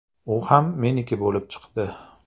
U ham ‘meniki’ bo‘lib chiqdi.